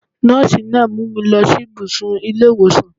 Nọ́ọ̀sí náà mú mi lọ sí ìbùsùn ilé ìwòsàn.